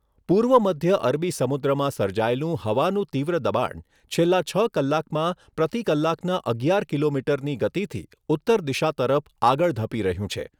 પૂર્વ મધ્ય અરબી સમુદ્રમાં સર્જાયેલું હવાનું તીવ્ર દબાણ છેલ્લા છ કલાકમાં પ્રતિ કલાકના અગિયાર કિલોમીટરની ગતિથી ઉત્તર દિશા તરફ આગળ ધપી રહ્યું છે.